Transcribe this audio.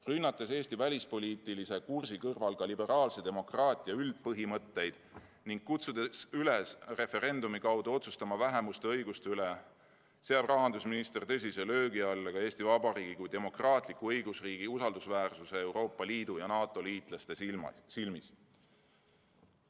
Rünnates Eesti välispoliitilise kursi kõrval ka liberaalse demokraatia üldpõhimõtteid ning kutsudes üles referendumi kaudu otsustama vähemuste õiguste üle, seab rahandusminister tõsise löögi alla ka Eesti Vabariigi kui demokraatliku õigusriigi usaldusväärsuse Euroopa Liidu ja NATO liitlaste silmis.